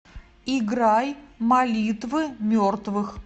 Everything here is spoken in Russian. играй молитвы мертвых